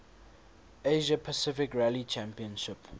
asia pacific rally championship